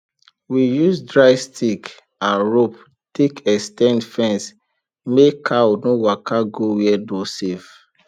we use dry stick and rope take ex ten d fence make cow no waka go where no safe